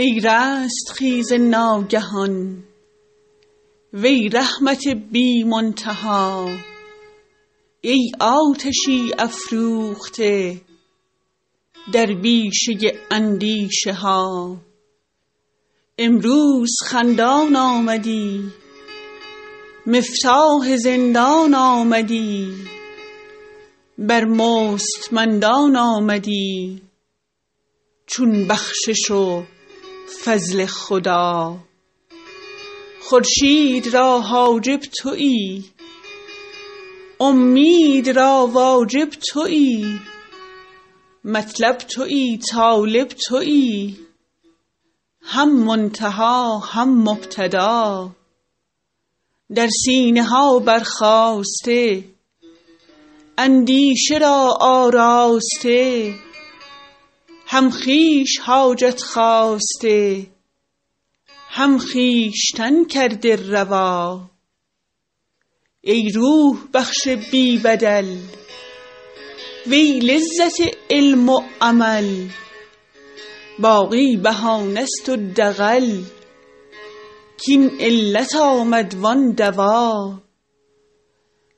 ای رستخیز ناگهان وی رحمت بی منتها ای آتشی افروخته در بیشه اندیشه ها امروز خندان آمدی مفتاح زندان آمدی بر مستمندان آمدی چون بخشش و فضل خدا خورشید را حاجب تویی اومید را واجب تویی مطلب تویی طالب تویی هم منتها هم مبتدا در سینه ها برخاسته اندیشه را آراسته هم خویش حاجت خواسته هم خویشتن کرده روا ای روح بخش بی بدل وی لذت علم و عمل باقی بهانه ست و دغل کاین علت آمد وان دوا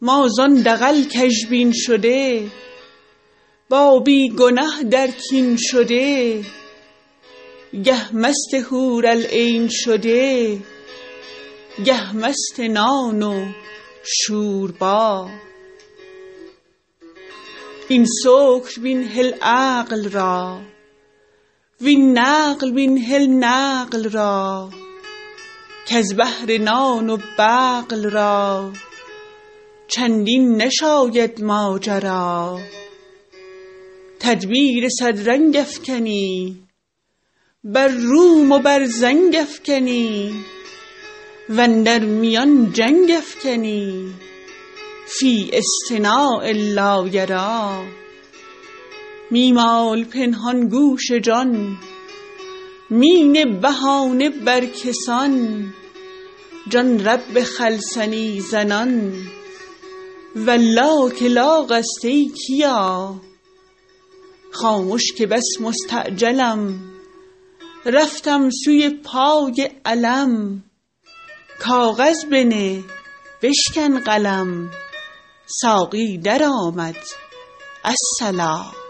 ما زان دغل کژبین شده با بی گنه در کین شده گه مست حورالعین شده گه مست نان و شوربا این سکر بین هل عقل را وین نقل بین هل نقل را کز بهر نان و بقل را چندین نشاید ماجرا تدبیر صد رنگ افکنی بر روم و بر زنگ افکنی و اندر میان جنگ افکنی فی اصطناع لا یری می مال پنهان گوش جان می نه بهانه بر کسان جان رب خلصنی زنان والله که لاغ است ای کیا خامش که بس مستعجلم رفتم سوی پای علم کاغذ بنه بشکن قلم ساقی درآمد الصلا